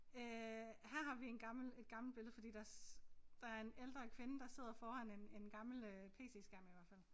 Øh her har vi en gammel et gammelt billede fordi der der er en ældre kvinde der sidder foran en en gammel øh pc skærm i hvert fald